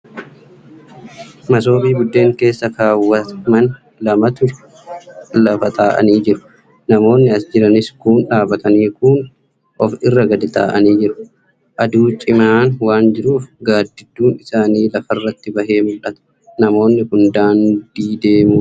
Masoobii buddeen keessa kaawwaman lamatu lafa taa'anii jiru. Namoonni as jiranis kuun dhaabatanii kuun of irra gad taa'aanii jiru. Aduu cimaan waan jiruuf gaaddidduun isaanii lafarratti bahee mul'ata. Namoonni kun daandii deemuuf jiru.